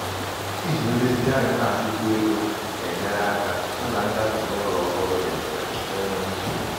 iji nlezianya na-echukwa ego na-enyere aka hụ na ngafe n'ụlọ ñ ọhụrụ ọhụrụ dị mfe na enweghị nsogbu.